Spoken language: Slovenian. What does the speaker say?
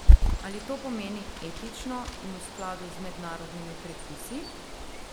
Ali to pomeni etično in v skladu z mednarodnimi predpisi?